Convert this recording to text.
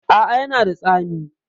A a, ya na da tsami.